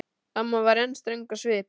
Amma var enn ströng á svip.